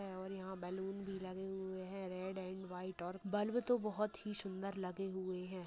और यह बैलून भी लगे हुए हैं रेड एंड वाइट और बल्ब तो बहुत ही सुन्दर लगे हुए हैं।